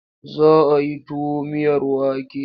Za a yi tuwo miyar wake.